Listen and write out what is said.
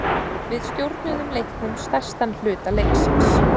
Við stjórnuðum leiknum stærstan hluta leiksins